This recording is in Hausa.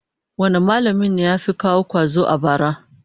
Wane mallamin ne ya fi kowa kwazo a bara?